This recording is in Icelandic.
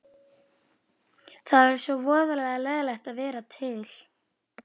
Það væri svo voðalega leiðinlegt að vera til.